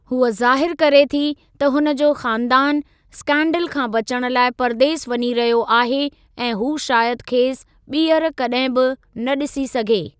हूअ ज़ाहिरु करे थी त हुन जो ख़ानदानु इस्कैन्डल खां बचणु लाइ परदेस वञी रहियो आहे ऐं हू शायदि खेसि ॿीहर कॾहिं बि न ॾिसी सघे।